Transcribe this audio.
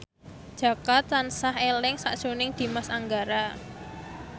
Jaka tansah eling sakjroning Dimas Anggara